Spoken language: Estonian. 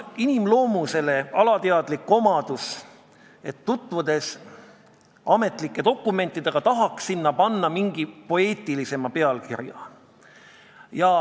Inimese loomuses on vist alateadlik soov panna ametlikele dokumentidele, kui need on läbi loetud, poeetilisemaid pealkirju.